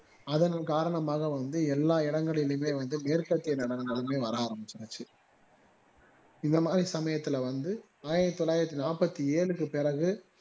அதன் காரணமாக வந்து எல்லா இடங்களிலுமே வந்து மேற்கேத்தைய நடனங்கள் வர ஆரம்பிச்சுடுச்சு இந்தமாறி சமையத்துல வந்து ஆயிரத்து தொள்ளாயிரத்து நாற்பத்தி ஏழுக்கு பிறகு